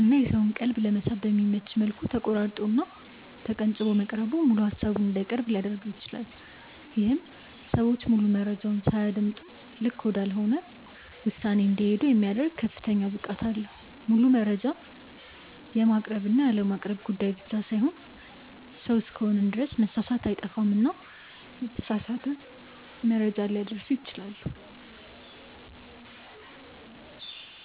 እና የሰውን ቀልብ ለመሳብ በሚመች መልኩ ተቆራርጦ እና ተቀንጭቦ መቅረቡ ሙሉ ሃሳቡን እንዳይቀርብ ሊያድርገው ይችላል። ይሄም ሰዎች ሙሉ መረጃውን ሳያደምጡ ልክ ወዳልሆነ ውሳኔ እንዲሄዱ የሚያደርግ ከፍተኛ ብቃት አለው። ሙሉ መረጃ የማቅረብ እና ያለማቅረብ ጉዳይ ብቻ ሳይሆን ሰው እስከሆንን ድረስ መሳሳት አይጠፋምና የተሳሳተ መረጃ ሊያደርሱ ይችላሉ።